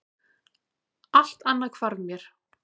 Allt annað hvarf mér.